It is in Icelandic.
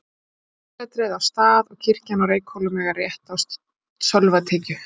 Prestssetrið á Stað og kirkjan á Reykhólum eiga rétt á sölvatekju.